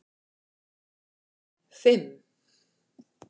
fimm